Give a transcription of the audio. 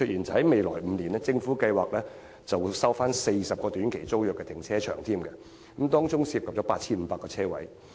在未來5年，政府計劃收回40個短期租約停車場，當中涉及 8,500 個泊車位。